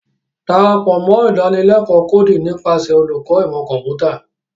Darapọ mọ Idanileko Coding nipasẹ Oluko Imọ Kọmputa.